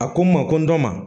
A ko n ma ko n dɔ ma